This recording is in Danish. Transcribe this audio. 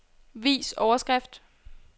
Vis overskrift.